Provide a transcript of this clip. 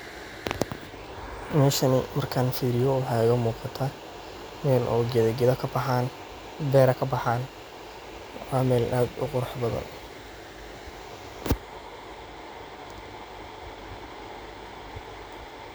Howshaani markan firiyo waxa igamugata mel oo geda geda kabahaan bera kabahaan, wa mel aad uqur badan.